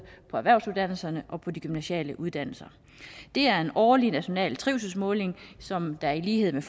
på erhvervsuddannelserne og på de gymnasiale uddannelser det er en årlig national trivselsmåling som der i lighed med